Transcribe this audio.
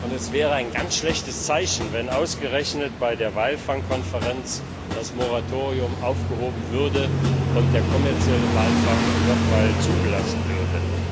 Es wäre ein ganz schlechtes Zeichen, wenn ausgerechnet bei der Walfang Konferenz das Moratorium aufgehoben würde und der kommerzielle Walfang noch einmal zugelassen würde.